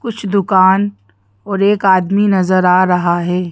कुछ दुकान और एक आदमी नजर आ रहा है।